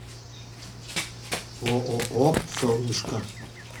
ооо солнышко